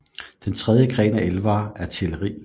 Den tredje gren af elvere er Teleri